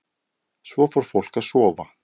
Svo fór fólk að sofa.